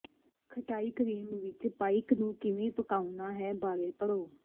ਖਟਾਈ ਕਰੀਮ ਵਿਚ ਪਾਈਕ ਨੂੰ ਕਿਵੇਂ ਪਕਾਉਣਾ ਹੈ ਬਾਰੇ ਪੜ੍ਹੋ